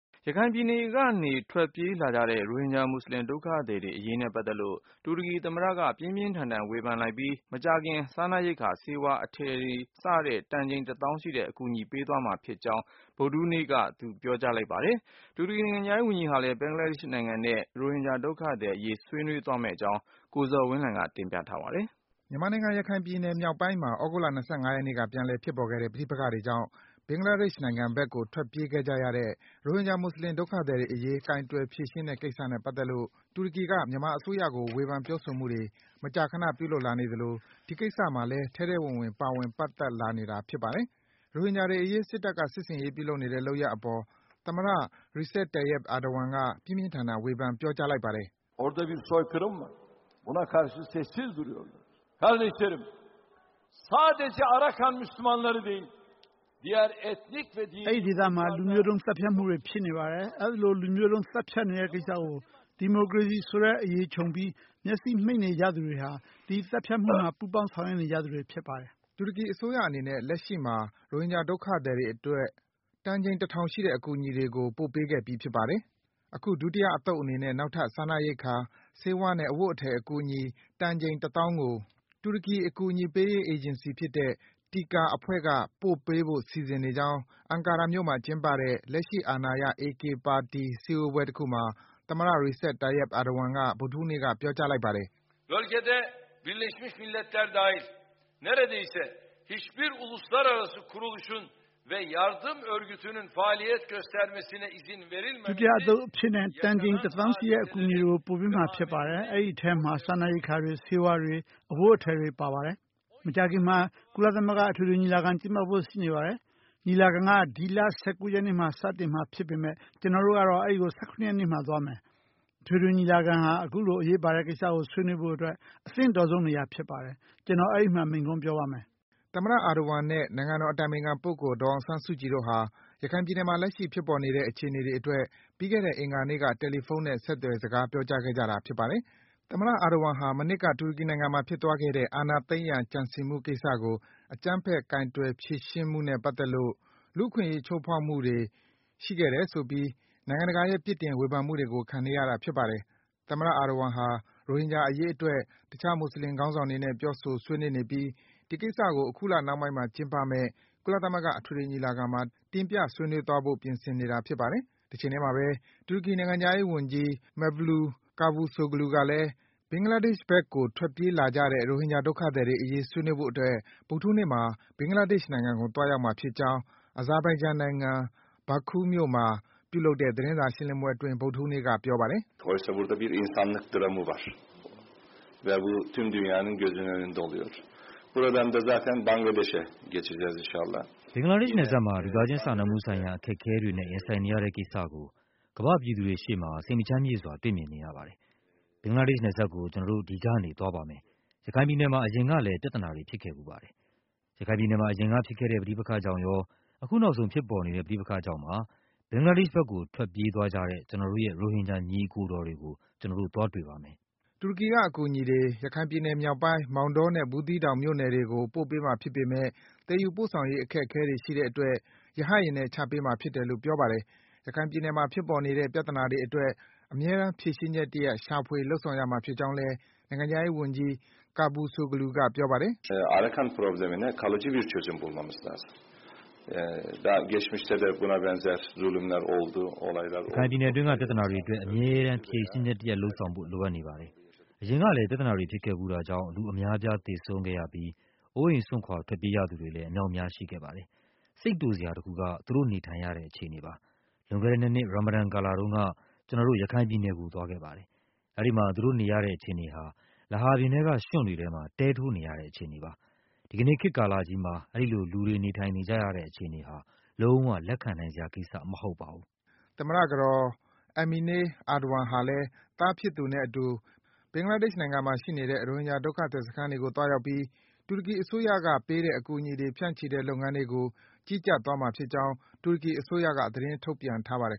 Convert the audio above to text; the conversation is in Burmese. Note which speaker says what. Speaker 1: ရခိုင်ပြည်နယ်က ထွက်ပြေးလာကြတဲ့ ရိုဟင်ဂျာ မွတ်ဆလင် ဒုက္ခသည်တွေ အရေးနဲ့ ပတ်သက်လို့ တူရကီ သမ္မတက ပြင်းပြင်းထန်ထန် ဝေဖန်လိုက်ပြီး မကြာခင်မှာ စားနပ်ရိက္ခာ၊ ဆေးဝါးနဲ့ အဝတ်အထည် စတဲ့ တန်ချိန် တသောင်းရှိတဲ့ အကူအညီတွေ ပေးပို့သွားမှာ ဖြစ်ကြောင်း တူရကီသမ္မတက ဗုဒ္ဓဟူးနေ့မှာ ပြောကြားလိုက်ပါတယ်။ တချိန်ထဲမှာဘဲ တူရကီ နိုင်ငံခြားရေး ဝန်ကြီးဟာလည်း ဘင်္ဂလာဒေ့ရှ် နိုင်ငံကို ဗုဒ္ဓဟူးနေ့က ထွက်ခွာသွားပြီး ရိုဟင်ဂျာ ဒုက္ခသည်တွေ အရေး ဆွေးနွေးဖို့ ရှိနေပါတယ်။ အပြည့်အစုံကိုတော့ ကိုဇော်ဝင်းလှိုင်က တင်ပြပေးပါမယ်။ မြန်မာနိုင်ငံ ရခိုင်ပြည်နယ် မြောက်ပိုင်းမှာ သြဂုတ်လ ၂၅ ရက်နေ့က ပြန်လည် ဖြစ်ပေါ်ခဲ့တဲ့ ပဋိပက္ခတွေကြောင့် ဘင်္ဂလားဒေ့ရှ် နိုင်ငံဘက်ကို ထွက်ပြေးခဲ့ကြရတဲ့ ရိုဟင်ဂျာ မွတ်ဆလင် ဒုက္ခသည်တွေ အရေး ကိုင်တွယ် ဖြေရှင်းတဲ့ ကိစ္စနဲ့ ပတ်သက်လို့ တူရကီက မြန်မာအစိုးရကို ဝေဖန် ပြောဆိုမှုတွေ မကြာခန ပြုလုပ်လာနေ သလို ဒီကိစ္စမှာ ထဲထဲဝင်ဝင် ပါဝင် ပတ်သက် လာနေတာလည်း ဖြစ်ပါတယ်။ ရိုဟင်ဂျာတွေ အရေး စစ်တပ်က စစ်ဆင်ရေး ပြုလုပ်နေတဲ့ လုပ်ရပ်အပေါ် သမ္မတ Recep Tayyip Erdogan က ပြင်းပြင်းထန်ထန် ဝေဖန် ပြောကြား လိုက်ပါတယ်။ “ အဲဒီ
Speaker 2: ဒေသမှာ လူမျိုးတုန်း သတ်ဖြတ်မှု ဖြစ်နေပါတယ်။ အဲဒီလို လူမျိုးတုန်း သတ်ဖြတ်နေတဲ့ ကိစ္စကို ဒီမိုကရေစီ ဆိုတဲ့ အရေခြုံပြီး မျက်စိမှိတ် နေကြသူတွေဟာ ဒီ သတ်ဖြတ်မှုမှာ ပူးပေါင်း ဆောင်ရွက် နေသူတွေ ဖြစ်တယ်။
Speaker 1: ” တူရကီ အစိုးရ အနေနဲ့ လက်ရှိမှာ ရိုဟင်ဂျာ ဒုက္ခသည်တွေ အတွက် တန်ချိန် တထောင်ရှိတဲ့ အကူအညီတွေကို ပို့ပေးခဲ့ပြီး ဖြစ်ပါတယ်။ အခု ဒုတိယ အသုတ် အနေနဲ့ နောက်ထပ် စားနပ်ရိက္ခာ၊ ဆေးဝါးနဲ့ အဝတ်အထည် အကူအညီ တန်ချိန် တသောင်းကို တူရကီ အကူအညီပေးရေး အေဂျင်စီဖြစ်တဲ့ TIKA အဖွဲ့က ပို့ပေးဖို့ စီစဉ်နေကြောင်း အန်ကာရာ မြို့မှာ ကျင်းပတဲ့ လက်ရှိ အာဏာရ AK ပါတီ စည်းဝေးပွဲ တခုမှာ သမ္မတ Recep Tayyip Erdogan က ဗုဒ္ဓဟူးနေ့မှာ ပြောကြားလိုက်ပါတယ်
Speaker 2: ။ “ ဒုတိယအသုတ် အဖြစ်နဲ့ တန်ချိန် တသောင်းရှိတဲ့ အကူအညီတွေကို ပို့ပေးမှာ ဖြစ်ပါတယ်။ အဲဒီအထဲမှာ စားနပ်ရိက္ခာတွေ၊ ဆေးဝါးတွေ၊ အဝတ်အထည်တွေ ပါဝင်ပါမယ်။ မကြာခင်မှာ ကုလသမဂ္ဂ အထွေထွေ ညီလာခံ ကျင်းပဖို့ ရှိနေပါတယ်။ ညီလာခံက ဒီလ ၁၉ ရက်နေ့မှာ စမှာဖြစ်ပေမယ့် ကျနော်တို့ကတော့ အဲဒီကို ၁၇ ရက်နေ့မှာ သွားပါမယ်။ အထွေထွေ ညီလာခံဟာ အခုလို အရေးပါတဲ့ကိစ္စကို ဆွေးနွေးဖို့အတွက် အသင့်တော်ဆုံး နေရာဖြစ်ပါတယ်။ ကျနော် အဲဒီမှာ မိန့်ခွန်း ပြောပါမယ်
Speaker 1: ။” သမ္မတ Erdogan နဲ့ နိုင်ငံတော် အတိုင်ပင်ခံပုဂ္ဂိုလ် ဒေါ်အောင်ဆန်းစုကြည်တို့ဟာ ရခိုင်ပြည်နယ်မှာ လက်ရှိဖြစ်ပေါ်နေတဲ့ အခြေအနေတွေ အတွက် ပြီးခဲ့တဲ့ အင်္ဂါနေ့က တယ်လီဖုန်းနဲ့ ဆက်သွယ် စကားပြောခဲ့ကြတာ ဖြစ်ပါတယ်။ သမ္မတ Erdogan ဟာ မနှစ်က တူရကီနိုင်ငံမှာ ဖြစ်သွားခဲ့တဲ့ အာဏာသိမ်းရန် ကြံစည်မှုကိစ္စကို အကြမ်းဖက် ကိုင်တွယ် ဖြေရှင်းမှုမှာ လူ့အခွင့်အရေး ချိုးဖောက်မှုတွေမှုတွေ ကျူးလွန်ခဲ့တယ်ဆိုပြီး နိုင်ငံတကာရဲ့ ပြစ်တင် ဝေဖန်မှုတွေကို ခံနေရတာ ဖြစ်ပါတယ်။ သမ္မတ Erdogan ဟာ ရိုဟင်ဂျာ အရေးအတွက် တခြား မွတ်ဆလင် ခေါင်းဆောင်တွေနဲ့ ပြောဆို ဆွေးနွေးနေပြီး ဒီကိစ္စကို အခုလ နှောင်းပိုင်းမှာ ကျင်းပမယ့် ကုလသမဂ္ဂ အထွေထွေညီလာခံမှာ တင်ပြ ဆွေးနွေးသွားဖို့ ပြင်ဆင်နေတာ ဖြစ်ပါတယ်။ တချိန်ထဲမှာပဲ တူရကီ နိုင်ငံခြားရေး ဝန်ကြီး Mevlut Cavusoglu ကလည်း ဘင်္ဂလားဒေ့ရှ်ဘက်ကို ထွက်ပြေးလာကြတဲ့ ရိုဟင်ဂျာ ဒုက္ခသည်တွေ အရေး ဆွေးနွေးဖို့ အတွက် ဗုဒ္ဓဟူးနေ့မှာ ဘင်္ဂလားဒေ့ရှ် နိုင်ငံကို သွားရောက်မှာ ဖြစ်ကြောင်း Azerbaijan နိုင်ငံ၊ Baku မြို့မှာ ပြုလုပ်တဲ့ သတင်းစာရှင်းလင်းပွဲ အတွင်း ဗုဒ္ဓဟူးနေ့က ပြောပါတယ်။
Speaker 2: “ ဘင်္ဂလားဒေ့ရှ် နယ်စ
Speaker 3: ပ်မှာ လူသားချင်း စာနာမှုဆိုင်ရာ အခက်အခဲတွေနဲ့ ရင်ဆိုင်နေရတဲ့ ကိစ္စကို ကမ္ဘာ့ ပြည်သူတွေ ရှေ့မှာ စိတ်မချမ်းမြေ့စွာ တွေ့မြင် နေရပါတယ်။ ဘင်္ဂလားဒေ့ရှ် နယ်စပ်ကို ကျနော်တို့ ဒီကနေ့ သွားပါမယ်။ ရခိုင်ပြည်နယ်မှာ အရင်ကလည်း ပြဿနာတွေ ဖြစ်ခဲ့ဘူးပါတယ်။ ရခိုင်ပြည်နယ်မှာ အရင်က ဖြစ်ခဲ့တဲ့ ပဋိပက္ခကြောင့်ရော၊ အခုနောက်ဆုံး ဖြစ်ပေါ်နေတဲ့ ပဋိပက္ခကြောင့်ပါ ဘင်္ဂလားဒေ့ရှ် ဘက်ကို ထွက်ပြေးလာကြတဲ့ ကျနော်တို့ရဲ့ ရိုဟင်ဂျာ ညီအကိုတော်တွေကို ကျနော်တို့ သွားတွေ့ပါမယ်။” တူရကီနိုင်ငံက အ
Speaker 1: ကူအညီတွေ ရခိုင်ပြည်နယ် အနောက်မြောက်ပိုင်း မောင်တောနဲ့ ဘူးသီးတောင် ဒေသတွေကို ပို့ပေးမှာ ဖြစ်ပေမယ့် သယ်ယူပို့ဆောင် သွားရေး အခက်အခဲ ရှိတဲ့အတွက် ရဟတ်ယာဉ်နဲ့ ချပေးမှာ ဖြစ်တယ်လို့ ဆိုပါတယ်။ ရခိုင်ပြည်နယ်မှာ ဖြစ်ပေါ်နေတဲ့ ပြဿနာတွေ အတွက် အမြဲတမ်း ဖြေရှင်းချက် တရပ် ရှာဖွေ လုပ်ဆောင်ရမှာ ဖြစ်ကြောင်းလည်း နိုင်ငံခြားရေးဝန်ကြီး Cavusoglu က ပြောပါတယ်။
Speaker 2: “ရခိုင်ပြည်နယ် အတွင်းက ပြဿနာတွေ အတွက် အမြဲတမ်း
Speaker 3: ဖြေရှင်းချက် တရပ် လုပ်ဆောင်ဖို့ လိုအပ်နေပါတယ်။ အရင်ကလည်း ပြဿနာတွေ ဖြစ်ခဲ့ဘူးတာကြောင့် လူတွေအများအပြား သေဆုံးခဲ့ရပြီး အိုးအိမ် စွန့်ခွာ ထွက်ပြေးရသူတွေလည်း အမြောက်အများ ရှိခဲ့ပါတယ်။ စိတ်တိုစရာ တခုက သူတို့ နေထိုင်ရတဲ့ အခြေအနေပါ။ လွန်ခဲ့တဲ့ ၂ နှစ်၊ ရာမာဒန် ကာလတုန်းက ကျနော်တို့ ရခိုင်ပြည်နယ်ကို သွားရောက်ခဲ့ပါတယ်။ အဲဒီမှာ သူတို့နေရတဲ့ အခြေအနေဟာ လေဟာပြင်ထဲက ရွံ့တွေထဲမှာ တဲထိုး နေရတဲ့ အခြေအနေပါ။ ဒီကနေ့ ခေတ်ကာလကြီးမှာ အဲဒီလို လူတွေ နေထိုင်နေကြရတဲ့ အခြေအနေဟာ လုံး၀ လက်ခံနိုင်စရာ ကိစ္စမဟုတ်ပါဘူး။” သမ္မတ
Speaker 1: ကတော် Emine Erdogan ဟာလည်း သားဖြစ်သူနဲ့ အတူ ဘင်္ဂလားဒေ့ရှ် နိုင်ငံမှာ ရှိနေတဲ့ ရိုဟင်ဂျာ ဒုက္ခသည်စခန်းတွေကို သွားရောက်ပြီး တူရကီအစိုးရက ပေးတဲ့အကူအညီတွေ ဖြန့်ချိတဲ့ လုပ်ငန်းတွေကို ကြီးကြပ်သွားမှာ ဖြစ်ကြောင်း တူရကီအစိုးရက သတင်း ထုတ်ပြန်ထားပါတယ်